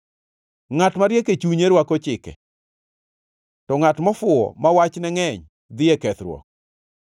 Ngʼat mariek e chunye rwako chike, to ngʼat mofuwo ma wachne ngʼeny dhi e kethruok.